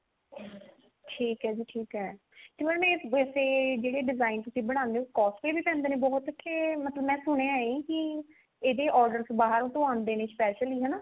ਠੀਕ ਹੈ ਜੀ ਠੀਕ ਹੈ mam ਇਹ ਵੇਸੇ ਜਿਹੜੇ design ਤੁਸੀਂ ਬਣਾਉਂਦੇ ਹੋ costly ਪੈਂਦੇ ਨੇ ਬਹੁਤ ਕੇ ਮਤਲਬ ਮੈਂ ਸੁਣਿਆ ਹੈ ਕੀ ਇਹਦੇ orders ਆਉਂਦੇ ਬਾਹਰ ਤੋਂ specially